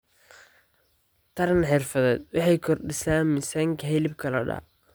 Taran xirfadeed waxay kordhisaa miisaanka hilibka lo'da.